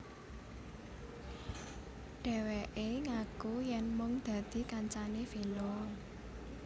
Dheweke ngaku yen mung dadi kancane Vino